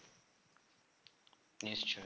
নিশ্চয়ই